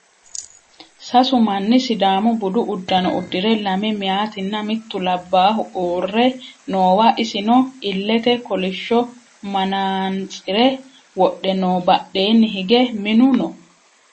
Sasu manni sidaamu budu uddano uddire lame mayeetinna mittu labbaahu uurre noowa isino illete kolishsho manaantsire wodhe no badheenni hige minu no